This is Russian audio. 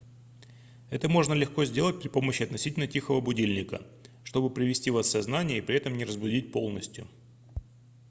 это можно легко сделать при помощи относительно тихого будильника чтобы привести вас в сознание и при этом не разбудить полностью